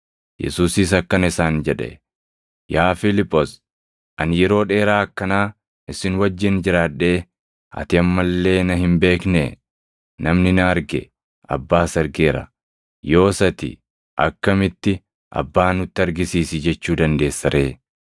Yesuusis akkana isaan jedhe; “Yaa Fiiliphoos, ani yeroo dheeraa akkanaa isin wajjin jiraadhee, ati amma illee na hin beeknee? Namni na arge Abbaas argeera. Yoos ati akkamitti, ‘Abbaa nutti argisiisi’ jechuu dandeessa ree?